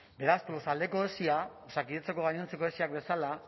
beraz tolosaldeko esi osakidetzako gainontzeko esi bezala